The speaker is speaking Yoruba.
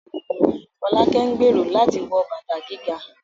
Folake ń gbèrò láti wọ bàtà gíga